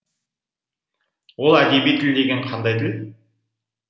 ол әдеби тіл деген қандай тіл